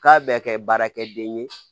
K'a bɛ kɛ baarakɛden ye